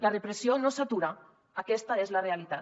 la repressió no s’atura aquesta és la realitat